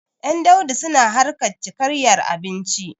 Ƴan Daudu suna harkar cikayyar abinci.